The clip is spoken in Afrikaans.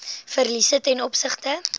verliese ten opsigte